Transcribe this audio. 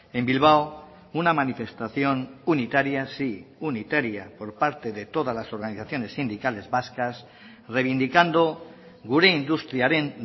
en bilbao una manifestación unitaria sí unitaria por parte de todas las organizaciones sindicales vascas reivindicando gure industriaren